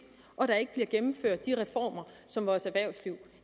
og at der ikke bliver gennemført de reformer som vores erhvervsliv